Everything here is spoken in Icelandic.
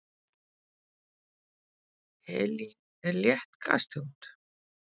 helín er létt gastegund